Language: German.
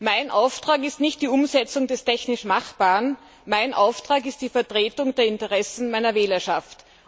Mein Auftrag ist nicht die Umsetzung des technisch Machbaren, mein Auftrag ist die Vertretung der Interessen meiner Wählerschaft.